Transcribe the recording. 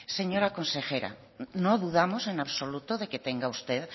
señora consejera no dudamos en absoluto de que tenga usted